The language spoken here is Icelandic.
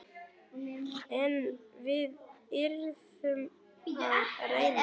En við yrðum að reyna.